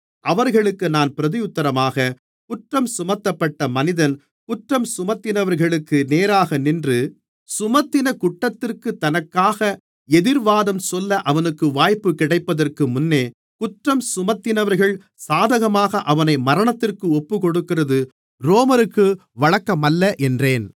அவர்களுக்கு நான் பிரதியுத்தரமாக குற்றஞ்சுமத்தப்பட்ட மனிதன் குற்றஞ்சுமத்தினவர்களுக்கு நேராகநின்று சுமத்தின குற்றத்திற்குத் தனக்காக எதிர்வாதம் சொல்ல அவனுக்கு வாய்ப்பு கிடைப்பதற்கு முன்னே குற்றஞ்சுமத்தினவர்கள் சாதகமாக அவனை மரணத்திற்கு ஒப்புக்கொடுக்கிறது ரோமருக்கு வழக்கமல்ல என்றேன்